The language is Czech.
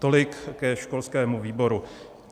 Tolik ke školskému výboru.